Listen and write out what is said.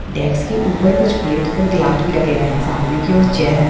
डेक्स के ऊपर कुछ प्लेट और गिलास भी रखे हुए हैं और सामने की ओर चेयर हैं।